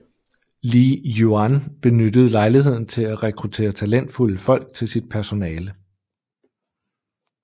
Li Yuan benyttede lejligheden til at rekruttere talentfulde folk til sit personale